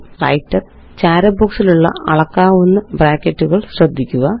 Writerചാര ബോക്സിലുള്ള അളക്കാവുന്ന ബ്രാക്കറ്റുകള് ശ്രദ്ധിക്കുക